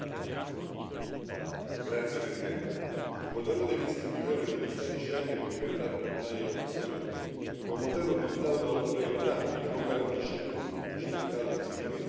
Signor Presidente, onorevoli colleghi, il modello dei visti in vigore negli Stati Schengen è diventato ormai obsoleto, è un modello utilizzato da oltre vent'anni che non garantisce più un sufficiente grado di sicurezza contro la contraffazione.